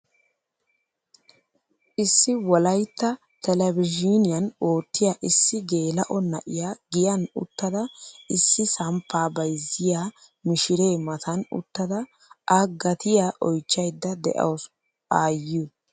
Issi wolaytta telebizhiniyaan oottiyaa issi geela'o na'iyaa giyan uttada issi samppaa bayzziyaa mishiree matan uttada a gatiyaa oychchayda de'awus ayiyoo.